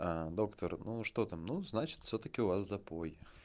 доктор ну что там ну значит всё-таки у вас запой